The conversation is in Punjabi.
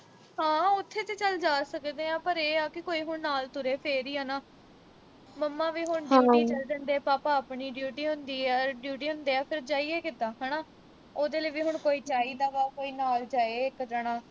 ਹਾਂ ਉਥੇ ਤਾਂ ਚੱਲ ਜਾ ਸਕਦੇ ਆਂ, ਪਰ ਇਹ ਆ ਕਿ ਕੋਈ ਹੁਣ ਨਾਲ ਤੁਰੇ ਇਹ ਆ ਨਾ। ਮੰਮਾ ਵੀ ਹੁਣ duty ਚਲ ਜਾਂਦੇ ਆ। ਪਾਪਾ ਆਪਣੀ duty ਹੁੰਦੀ ਆ, duty ਹੁੰਦੇ ਆ। ਫਿਰ ਜਾਈਏ ਕਿੱਤਾਂ ਹਨਾ। ਉਹਦੇ ਲਈ ਵੀ ਹੁਣ ਕੋਈ ਚਾਹੀਦਾ ਵਾ। ਕੋਈ ਨਾਲ ਜਾਏ ਇੱਕ ਜਣਾ